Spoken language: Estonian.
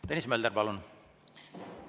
Tõnis Mölder, palun!